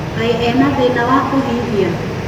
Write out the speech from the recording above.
Kaĩ ena thĩna wa kũhihia?